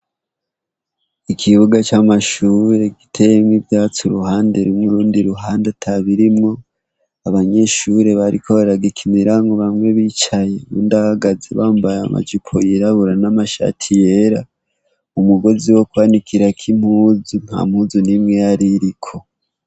Ikibuga c'amashure giteyemwo ivyatsi uruhande rumwe urundi ruhande atabirimwo , abanyeshure bariko baragikiniramwo bamwe bicaye uyundi ahagaze bambaye amajipo yirabura n'amashati yera , umugozi wo kwanikirako impuzu nta mpuzu nimwe yaririko.